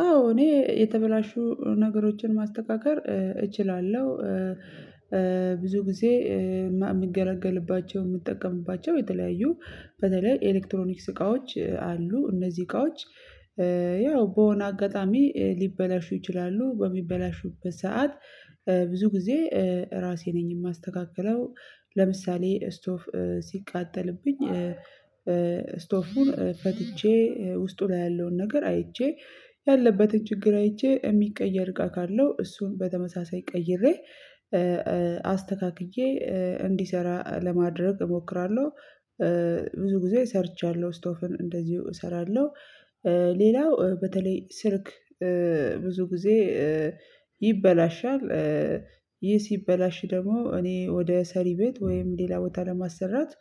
አዎ እኔ የተበላሹ ነገሮችን ማስተካከል እችላለሁ። ኧ ኧ ብዙ ጊዜ እ እማ እምገለገልባቸውን እምትጠቀምባቸው የተለያዩ በተለይ ኤሌክትሮኒክስ እቃዎች አሉ እነዚህ እቃዎች። ኧ ያው በሆነ አጋጣሚ ሊበላሹ ይችላሉ በሚበላሹበት ሰዓት ኧ ብዙ ጊዜ ኧ ራሴ ነኝ እማስተካክለው። ለምሳሌ ስቶፍ ሲቃጠልብኝ ኧ ኧ ስቶፉን ፈትቼ ውስጡ ላይ ያለውን ነገር አይቼ ያለበትን ችግር አይቼ የሚቀየር እቃ ካለው እሱን በተመሳሳይ ቀይሬ ኧ ኧ አስተካክዬ እንዲሰራ ለማድረግ እሞክራለሁ። ብዙ ጊዜ ሰርቻለሁ ስቶፍን እንደዚሁ እሰራለሁ። ኧ ሌላው ኧ በተለይ ስልክ ኧ ብዙ ጊዜ ኧ ይበላሻል። ኧ ይህ ሲበላሽ ደግሞ እኔ ወደ ሰሪ ቤት ወይም ሌላ ቦታ ለማሰራት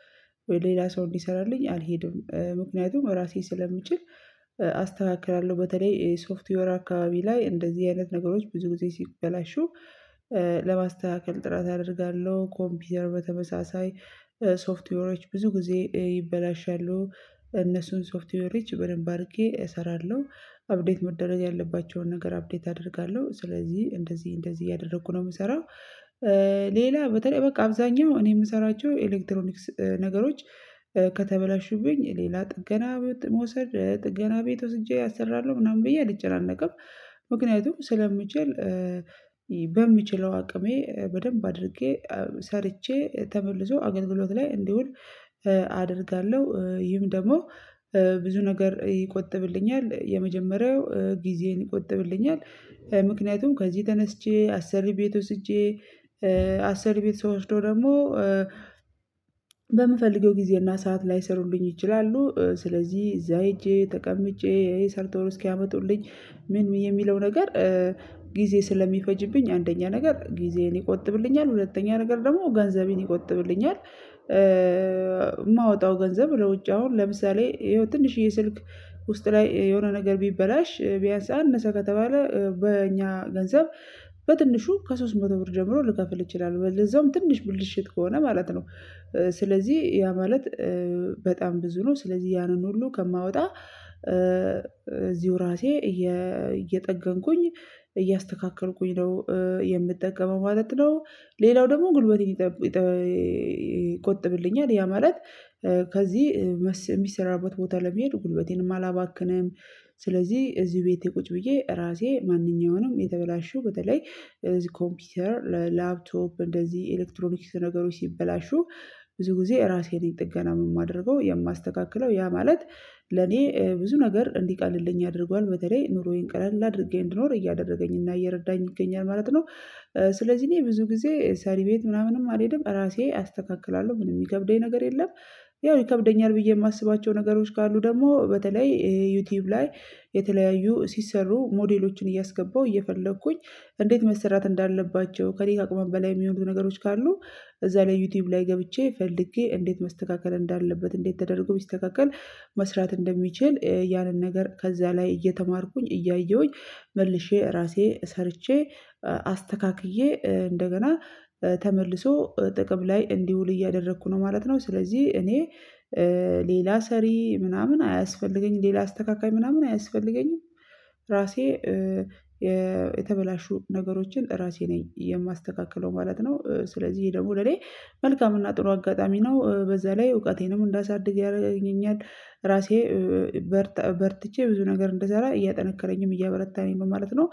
ወይ ሌላ ሰው እንዲሰራልኝ አልሄድም ምክንያቱም ራሴ ስለምችል አስተካክላለሁ። በተለይ ሶፍትዌር አካባቢ ላይ እንደዚህ አይነት ነገሮች ብዙ ጊዜ ሲበላሹ ኧ ለማስተካከል ጥረት አደርጋለሁ። ኮምፒውተር በተመሳሳይ ኧ ሶፍትዌሮች ብዙ ጊዜ ይበላሻሉ እነሱን ሶፍትዌሮች በደንብ አርጌ እሰራለሁ አብዴት መደረግ ያለባቸውን ነገር አብዴት አደርጋለሁ። ስለዚህ እንደዚህ እንደዚህ እያደረኩ ነው የምሰራው። ኧ ሌላ በተለይ በቃ አብዛኛው እኔ እምሰራቸው ኤሌክትሮኒክስ ነገሮች ኧ ከተበላሹብኝ ሌላ ጥገና ቤት መውሰድ ጥገና ቤት ወስጄ አሰራለሁ ምናምን ብዬ አልጨናነቅም። ምክንያቱም ስለምችል ኧ በምችለው አቅሜ በደንብ አድርጌ ሰርቼ ተመልሶ አገልግሎት ላይ እንዲውል አደርጋለሁ። ኧ ይህም ደግሞ ኧ ብዙ ነገር ይቆጥብልኛል የመጀመሪያው ጊዜን ይቆጥብልኛል። ኧ ምክንያቱም ከዚህ ተነስቼ አሰሪ ቤት ወስጄ ኧ አሰሪ ቤት ስወስደው ደግሞ ኧ በምፈልገው ጊዜና ሰዓት ላይሰሩልኝ ይችላሉ ኧ ስለዚህ እዛ ሄጄ ተቀምጬ ይሄ ሰርተው እስኪያመጡልኝ ምን የሚለው ነገር ኧ ጊዜ ስለሚፈጅብኝ አንደኛ ነገር ጊዜዬን ይቆጥብልኛል ሁለተኛ ነገር ደግሞ ገንዘቤን ይቆጥብልኛል። ኧኧ እማወጣው ገንዘብ ለውጭ አሁን ለምሳሌ ይሄው ትንሽዬ ስልክ ውስጥ ላይ የሆነ ነገር ቢበላሽ ቢያንስ አነሳ ከተባለ በእኛ ገንዘብ በትንሹ ከሶስት መቶ ብር ጀምሮ ልከፍል ይችላለሁ ለዛውም ትንሽ ብልሽት ከሆነ ማለት ነው። ኧ ስለዚህ ያ ማለት ኧ በጣም ብዙ ነው ስለዚህ ያንን ሁሉ ከማወጣ ኧ እዚሁ ራሴ እየ እየጠገንኩኝ እያስተካከልኩኝ ነው የምጠቀመው ማለት ነው። ሌላው ደግሞ ጉልበቴን ይጠ ይጠኧ ይቆጥብልኛል ያ ማለት ኧ ከዚህ እሚሰራበት ቦታ ለመሄድ ጉልበቴንም አላባክንም። ስለዚህ እዚህ ቤቴ ቁጭ ብዬ ራሴ ማንኛውንም የተበላሹ በተለይ እነዚህ ኮምፒውተር ለላብቶፕ እንደዚህ ኤሌክትሮኒክስ ነገሮች ሲበላሹ ብዙ ጊዜ ራሴ ነኝ ጥገናም እማደርገው የማስተካክለው ያ ማለት ለኔ ብዙ ነገር እንዲህ ቀልድልኝ አድርጓል በተለይ ኑሮዬን ቀላል አድርጌ እንድኖር እያደረገኝና እየረዳኝ ይገኛል ማለት ነው። ኧ ስለዚህ እኔ ብዙ ጊዜ ሰሪ ቤት ምናምንም አልሄድም ራሴ አስተካክላለሁ ምንም እሚከብደኝ ነገር የለም። ያው ይከብደኛል ብዬ እማስባቸው ነገሮች ካሉ ደግሞ በተለይ ዩቲዩብ ላይ የተለያዩ ሲሰሩ ሞዴሎችን እያስገባሁ እየፈለኩኝ እንዴት መሰራት እንዳለባቸው ከእኔ አቅም በላይ የሚሆኑት ነገሮች ካሉ እዛ ላይ ዩቲዩብ ላይ ገብቼ ፈልጌ እንዴት መስተካከል እንዳለበት እንዴት ተደርጎ ቢስተካከል መስራት እንደሚችል ኧ ያንን ነገር ከዛ ላይ እየተማርኩኝ እያየሁኝ መልሼ ራሴ ሰርቼ አስተካክዬ ኧ እንደገና ተመልሶ ጥቅም ላይ እንዲውል እያደረኩ ነው ማለት ነው። ስለዚህ እኔ ኧ ሌላ ሰሪ ምናምን አያስፈልገኝም ሌላ አስተካካይ ምናምን አያስፈልገኝም። ራሴ ኧ የ የተበላሹ ነገሮችን ራሴ ነኝ የማስተካክለው ማለት ነው። ኧ ስለዚህ ደግሞ ለኔ መልካም እና ጥሩ አጋጣሚ ነው ኧ በዛ ላይ እውቀቴንም እንዳሳድግ ያደርገኛል። ራሴ በርታ ኧ ብ በርትቼ ብዙ ነገር እንድሰራ እያጠነከረኝም እያበረታኝም ማለት ነው።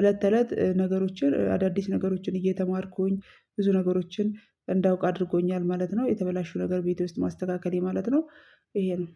እለት ተእለት ነገሮችን ኧ አዳዲስ ነገሮችን እየተማርኩኝ ብዙ ነገሮችን እንዳውቅ አድርጎኛል ማለት ነው። የተበላሹ ነገር ቤት ውስጥ ማስተካከሌ ማለት ነው። ይሄ ነው